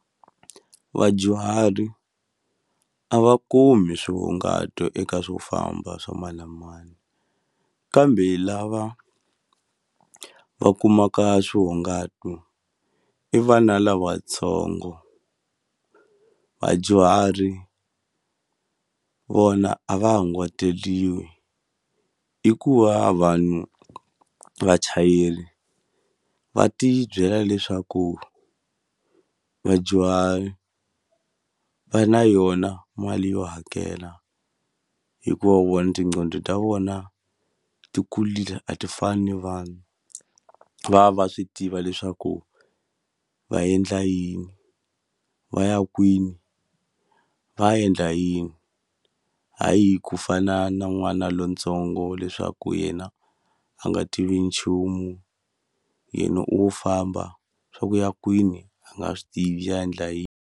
Vadyuhari a va kumi swihungato eka swo famba swa mani na mani, kambe lava va kumaka swihungato two i vana lavatsongo. Vadyuhari vona a va hunguteriwi hikuva vanhu vachayeri va ti byela leswaku vadyuhari va na yona mali yo hakela, hikuva vona tincqondo ta vona ti kule a ti fani ni vana. Va va va swi tiva leswaku va endla yini, va ya kwini, va ya endla yini. Hayi ku fana na n'wana lontsongo leswaku yena a nga tivi nchumu, yena o famba leswaku u ya kwini a nga swi tivi, u ya endla yini.